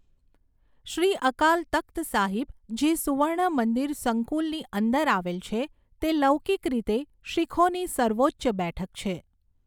શ્રી અકાલ તખ્ત સાહિબ, જે સુવર્ણ મંદિર સંકુલની અંદર આવેલ છે, તે લૌકિક રીતે શીખોની સર્વોચ્ચ બેઠક છે.